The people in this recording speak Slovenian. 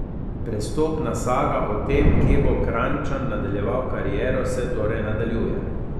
Prestopna saga o tem, kje bo Kranjčan nadaljeval kariero, se torej nadaljuje.